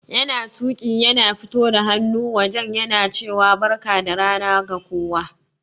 Yana Tuƙi yana fito da hannu wajen yana cewa Barka da rana ga kowa.